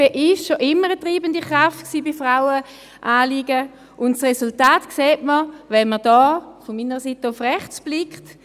Die SP war schon immer eine treibende Kraft bei Frauenanliegen, und das Resultat sieht man, wenn man von diesem Pult aus nach rechts blickt: